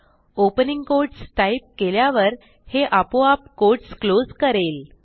opening quotes type केल्यावर हे आपोआप कोट्स क्लोज करेल